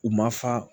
U ma fa